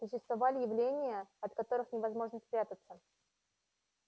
существовали явления от которых невозможно спрятаться